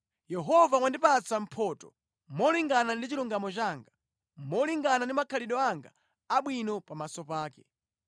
Yehova wandipatsa mphotho molingana ndi chilungamo changa, molingana ndi makhalidwe anga abwino pamaso pake.